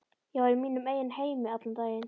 Ég var í mínum eigin heimi allan daginn.